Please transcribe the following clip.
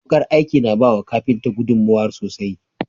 Wukar aiki na bawa kafinta gudunmawa sosai.